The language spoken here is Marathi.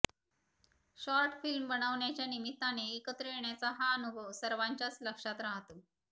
शॉर्टफिल्म बनवण्याच्या निमित्ताने एकत्र येण्याचा हा अनुभव सर्वाच्याच लक्षात राहतो